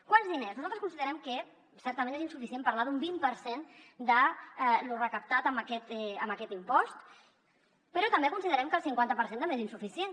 quants diners nosaltres considerem que certament és insuficient parlar d’un vint per cent de lo recaptat amb aquest impost però també considerem que el cinquanta per cent també és insuficient